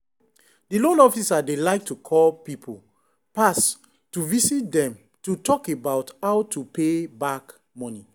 the loan officer dey like to call people pass to visit them to talk about how to pay back money.